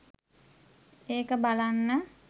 ඒක බලන්න.